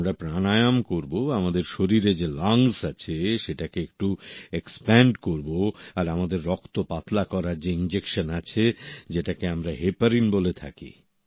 আমরা প্রাণায়াম করব আমাদের শরীরে যে লাংস আছে সেটাকে একটু এক্সপেন্ড করব আর আমাদের রক্ত পাতলা করার যে ইনজেকশন আছে যেটাকে আমরা হেপারিন বলে থাকি